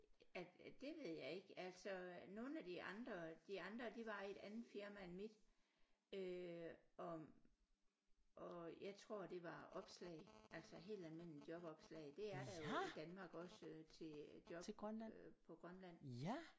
At det ved jeg ikke altså nogle af de andre de andre de var i et andet firma end mit øh om og jeg tror det var opslag altså helt almindelige jobopslag det er der jo i Danmark også øh til job på Grønland